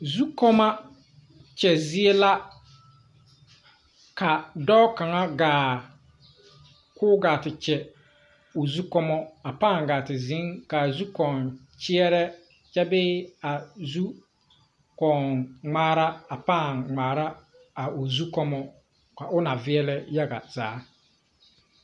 Zukɔɔmɔ kyɛ zie la ka dɔɔ kaŋa gaa koo gaa te kyɛ o zu kɔmɔ a pãã gaa te zeŋ kaa a zukɔɔ kyɛɛrɛ kyɛ bee a zukɔɔn ngmaara a pãã ngmaara a o zu kɔmɔ ka o ba veɛlɛ yaga zaa.